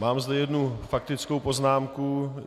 Mám zde jednu faktickou poznámku.